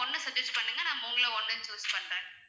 ஒண்ணு suggest பண்ணுங்க நான் மூணுல ஒன்ணு choose பண்றேன